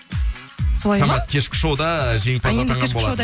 солай ма самат кешкі шоуда жеңімпаз атанған болатын